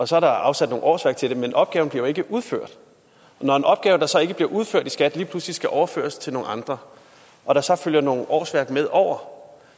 så er der afsat nogle årsværk til den men opgaven bliver jo ikke udført og når en opgave som så ikke bliver udført i skat lige pludselig skal overføres til nogle andre og der så følger nogle årsværk med over